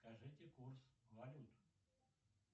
скажите курс валют